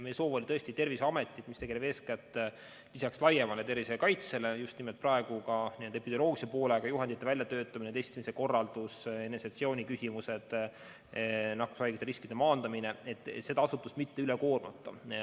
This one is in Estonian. Meie soov oli tõesti Terviseametit, mis tegeleb eeskätt lisaks laiemale tervisekaitsele praegu ka n-ö epidemioloogilise poolega – juhendite väljatöötamine, testimise korraldus, eneseisolatsiooni küsimused, nakkushaigete riskide maandamine –, mitte üle koormata.